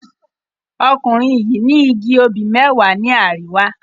Ọkùnrin yìí ní igi obì mẹ́wàá ní àríwá.